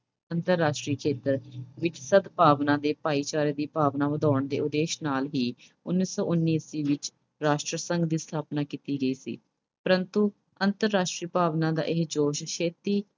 ਅੰਤਰਰਾਸ਼ਟਰੀ ਖੇਤਰ ਵਿੱਚ ਸਦਭਾਵਨਾ ਤੇ ਭਾਈਚਾਰੇ ਦੀ ਭਾਵਨਾ ਵਧਾਉਣ ਦੇ ਉਦੇਸ਼ ਨਾਲ ਹੀ ਉਨੀ ਸੌ ਉਨੀ ਈਸਵੀ ਵਿੱਚ ਰਾਸ਼ਟਰ ਸੰਘ ਦੀ ਸਥਾਪਨਾ ਕੀਤੀ ਗਈ ਸੀ, ਪ੍ਰੰਤੂ ਅੰਤਰਰਾਸ਼ਟਰੀ ਭਾਵਨਾ ਦਾ ਇਹ ਜੋਸ਼ ਛੇਤੀ